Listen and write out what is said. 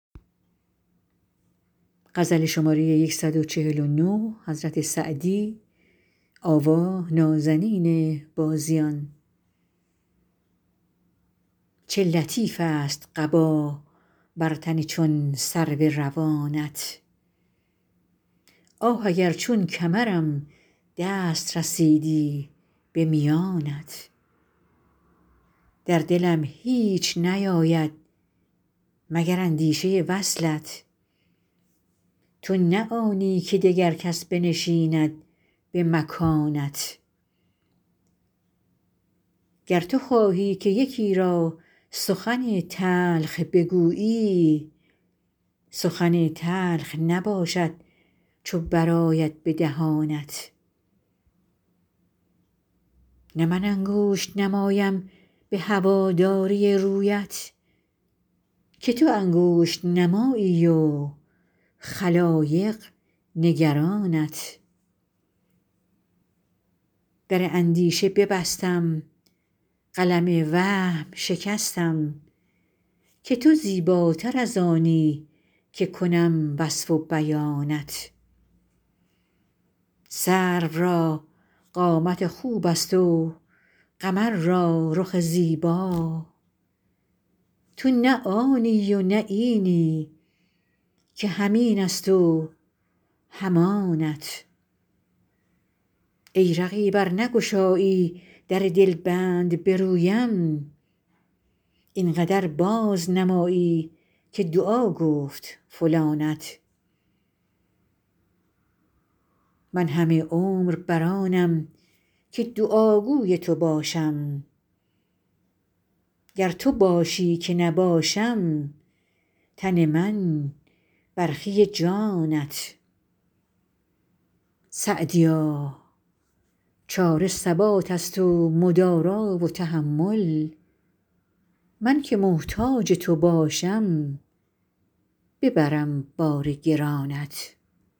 چه لطیفست قبا بر تن چون سرو روانت آه اگر چون کمرم دست رسیدی به میانت در دلم هیچ نیاید مگر اندیشه وصلت تو نه آنی که دگر کس بنشیند به مکانت گر تو خواهی که یکی را سخن تلخ بگویی سخن تلخ نباشد چو برآید به دهانت نه من انگشت نمایم به هواداری رویت که تو انگشت نمایی و خلایق نگرانت در اندیشه ببستم قلم وهم شکستم که تو زیباتر از آنی که کنم وصف و بیانت سرو را قامت خوبست و قمر را رخ زیبا تو نه آنی و نه اینی که هم اینست و هم آنت ای رقیب ار نگشایی در دلبند به رویم این قدر بازنمایی که دعا گفت فلانت من همه عمر بر آنم که دعاگوی تو باشم گر تو خواهی که نباشم تن من برخی جانت سعدیا چاره ثباتست و مدارا و تحمل من که محتاج تو باشم ببرم بار گرانت